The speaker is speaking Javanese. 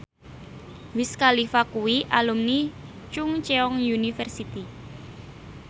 Wiz Khalifa kuwi alumni Chungceong University